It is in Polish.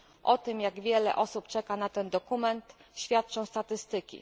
O tym, jak wiele osób czeka na ten dokument, świadczą statystyki.